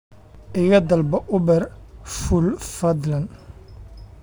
iga dalbo uber fuul fadlan